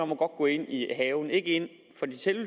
må gå ind i haven ikke ind